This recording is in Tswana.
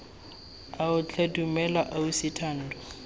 ao tlhe dumela ausi thando